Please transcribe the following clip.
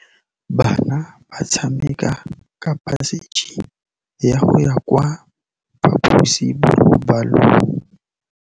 Bana ba tsamaya ka phašitshe go ya kwa phaposiborobalong.